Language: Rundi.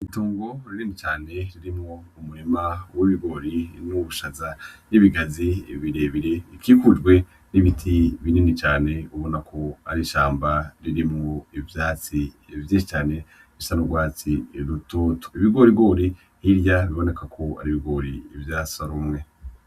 Itongo rinini cane ririmwo umurima w'ibigori nubushaza, n'ibigazi birebire bikikujwe nimiti binini cane ubonako ari ishamba ririmwo ivyatsi vyinshi cane bisa nurwatsi rutoto ibigorigori hirya bibonekako ari ibigori vyasoromwe.